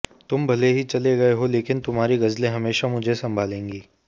तुम भले ही चले गए हो लेकिन तुम्हारी गजलें हमेशा मुझे संभालेंगी